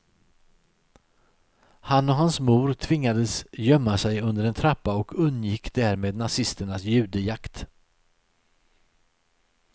Han och hans mor tvingades gömma sig under en trappa och undgick därmed nazisternas judejakt.